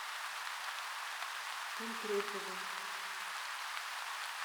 антропова